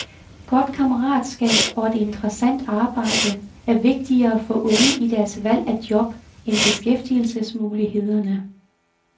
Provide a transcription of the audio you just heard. Godt kammeratskab og et interessant arbejde er vigtigere for unge i deres valg af job end beskæftigelsesmulighederne.